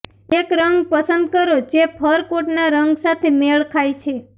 એક રંગ પસંદ કરો જે ફર કોટના રંગ સાથે મેળ ખાય છે